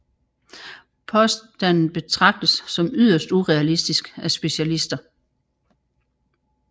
Påstanden betragtes som yderst urealistisk af specialister